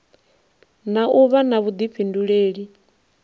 na u vha na vhuḓifhinduleli